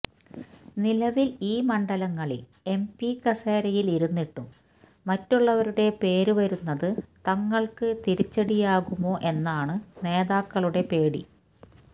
നിലവിൽ ഈ മണ്ഡലങ്ങളിൽ എംപി കസേരയിൽ ഇരുന്നിട്ടും മറ്റുള്ളവരുടെ പേര് വരുന്നത് തങ്ങൾക്ക് തിരിച്ചടിയാകുമോ എന്നാണ് നേതാക്കളുടെ പേടി